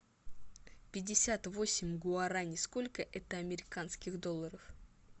пятьдесят восемь гуарани сколько это американских долларов